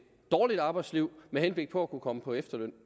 dårlig arbejdsliv med henblik på at kunne komme på efterløn